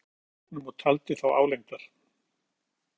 Hann gekk á móti herflokknum og taldi þá álengdar.